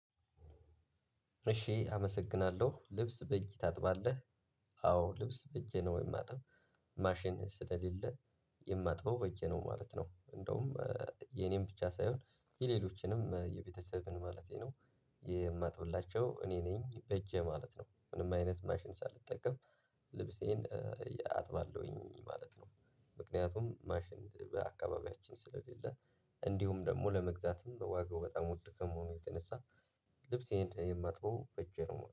እሺ አመሰግናለሁ ልብስ በእጅ ታጥባለህ? አዎ ልብስ በእጄ ነው የማጥበው። ማሽን ስለሌለ የማጥበው በእጄ ነው ማለት ነው። እንደውም የኔን ብቻ ሳይሆን የሌሎችንም የቤተሰብን ማለቴ ነው። የማጥብላቸው እኔ ነኝ በእጄ ማለት ነው። ምንም አይነት ማሽን ሳልጠቀም ልብሴን አጥባለሁኝ ማለት ነው። ምክንያቱም ማሽን በአካባቢያችን ስለሌለ እንዲሁም ደግሞ ለመግዛትም በዋጋው በጣም ውድ ከመሆኑ የተነሳ። ልብሴን የማጥበው በእጄ ነው